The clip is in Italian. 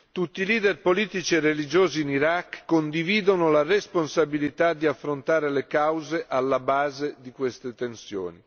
Tutti i leader politici e religiosi in Iraq condividono la responsabilità di affrontare le cause alla base di queste tensioni.